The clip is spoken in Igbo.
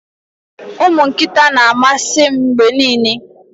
ụmụ nkịta na-amasị m mgbe niile